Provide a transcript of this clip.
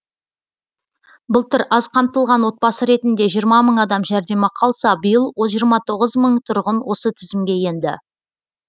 былтыр аз қамтылған отбасы ретінде жиырма мың адам жәрдемақы алса биыл жиырма тоғыз мың тұрғын осы тізімге енді